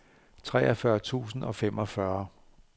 treogfyrre tusind og femogfyrre